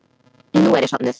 Nú er ég sofnuð.